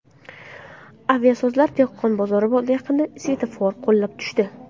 Aviasozlar dehqon bozori yaqinida svetofor qulab tushdi.